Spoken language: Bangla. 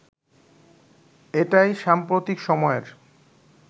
এটাই সাম্প্রতিক সময়ের